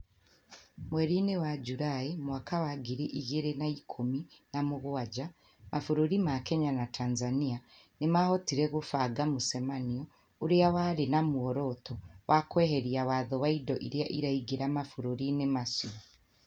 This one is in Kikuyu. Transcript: Mweri wa julae mwaka wa ngiri igĩrĩ na ikũmi na mũgwaja mabũrũri ma Kenya na Tanzania nĩ maahotire kũbanga mũcemanio ũrĩa warĩ na muoroto wa kweheria watho ma indo iria iraingĩra mabũrũriinĩ macio